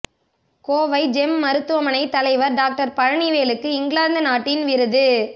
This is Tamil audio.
கோவை ஜெம் மருத்துவமனை தலைவர் டாக்டர் பழனிவேலுவுக்கு இங்கிலாந்து நாட்டின் விருது